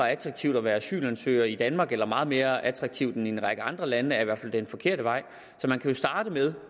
attraktivt at være asylansøger i danmark eller meget mere attraktivt end i en række andre lande er i hvert fald den forkerte vej så man kan jo starte med